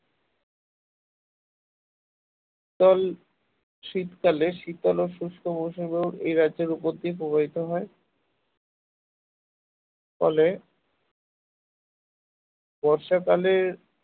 শীতল শীতকালে শীতল ও শুষ্ক মৌসুমী বায়ু এই রাজ্যের উপর দিয়ে প্রবাহিত হয় ফলে বর্ষাকালে